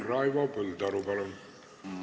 Raivo Põldaru, palun!